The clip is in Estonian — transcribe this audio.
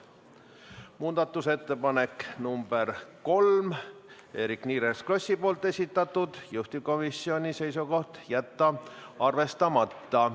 Muudatusettepanek nr 3, Eerik-Niiles Krossi esitatud, juhtivkomisjoni seisukoht on jätta arvestamata.